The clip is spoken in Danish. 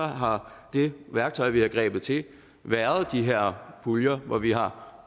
har det værktøj vi har grebet til været de her puljer hvor vi har